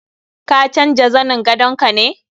Ka canja zanin gadon ka ne?